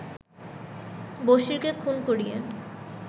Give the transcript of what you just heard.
বসিরকে খুন করিয়া